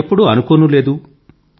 అలా ఎప్పుడూ అనుకోనూ లేదు